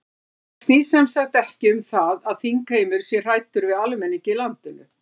Þetta snýst sem sagt ekki um það að þingheimur sé hræddur við almenning í landinu?